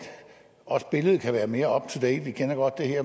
billedet kan være mere opdateret vi kender godt det her